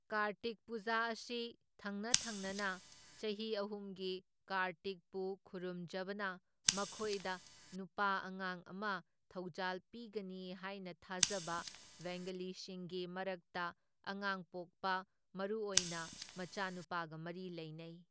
ꯀꯥꯔꯇꯤꯛ ꯄꯨꯖꯥ ꯑꯁꯤ ꯊꯪꯅ ꯊꯪꯅꯅ ꯆꯍꯤ ꯑꯍꯨꯝꯒꯤ ꯀꯥꯔꯇꯤꯛꯄꯨ ꯈꯨꯔꯨꯝꯖꯕꯅ ꯃꯈꯣꯢꯗ ꯅꯨꯄꯥ ꯑꯉꯥꯡ ꯑꯃ ꯊꯧꯖꯥꯜ ꯄꯤꯒꯅꯤ ꯍꯥꯏꯅ ꯊꯥꯖꯕ ꯕꯦꯡꯒꯥꯂꯤꯁꯤꯡꯒꯤ ꯃꯔꯛꯇ ꯑꯉꯥꯡ ꯄꯣꯛꯄ ꯃꯔꯨꯨ ꯑꯣꯏꯅ ꯃꯆꯥ ꯅꯨꯄꯥꯒ ꯃꯔꯤ ꯂꯩꯅꯩ꯫